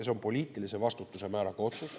See on poliitilise vastutuse määraga otsus.